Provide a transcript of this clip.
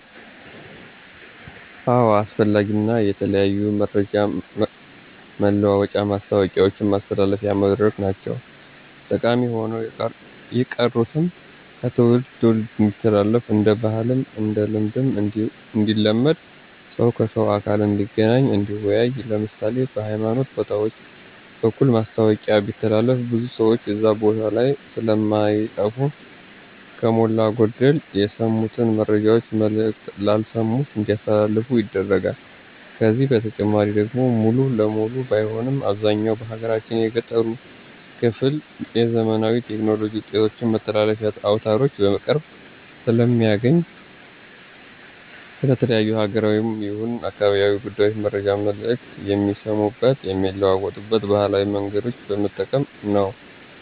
አዎ አስፈላጊ እና የተለያዩ መረጃ መለዋወጫ ማስታወቂያውችን ማስተላለፊያ መድረክ ናቸው። ጠቀሚ ሆነው የቀሩትም ከትውልድ ትውልድ እንዲተላለፍ እንደ ባህልም እንደ ልማድም እንዲለመድ ሰው ከሰው በአካል እንዲገናኝ እንዲወያይ ለምሳሌ፦ በሀይማኖት ቦታውች በኩል ማስታወቂያ ቢተላለፍ ብዙ ሰውች እዛ ቦታ ላይ ስለማይጠፉ ከሞላ ጎደል የሰሙትን መረጃውች መልክቶች ላልሰሙት እንዲያስተላልፉ ይደረጋል። ከዚህ በተጨማሪ ደግሞ ሙሉ ለሙሉ ባይሆንም አብዛኛው በሀገራችን የገጠሩ ክፍል የዘመናዊ ቴክኖሎጂ ውጤቶች መተላለፊያ አውታሮች በቅርብ ስለማያገኙ ስለ ተለያዩ ሀገራዊም ይሁን አካባቢያዊ ጉዳዮችን መረጃ መልክት የሚሰሙበት የሚለዋወጡበት ባህላዊ መንገዶችን በመጠቀም ነው።